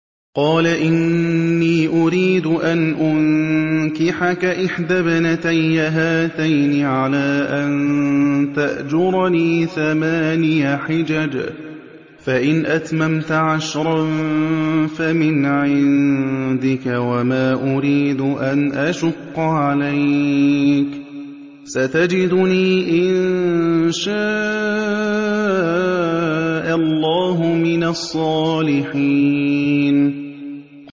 قَالَ إِنِّي أُرِيدُ أَنْ أُنكِحَكَ إِحْدَى ابْنَتَيَّ هَاتَيْنِ عَلَىٰ أَن تَأْجُرَنِي ثَمَانِيَ حِجَجٍ ۖ فَإِنْ أَتْمَمْتَ عَشْرًا فَمِنْ عِندِكَ ۖ وَمَا أُرِيدُ أَنْ أَشُقَّ عَلَيْكَ ۚ سَتَجِدُنِي إِن شَاءَ اللَّهُ مِنَ الصَّالِحِينَ